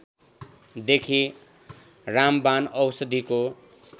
देखि रामवाण औषधिको